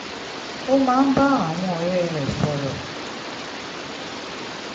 ó máa ń bá àwọn ọ̀rẹ́ rẹ̀ sọ̀rọ̀